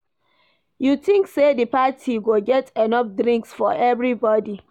You think say di party go get enough drinks for everybody?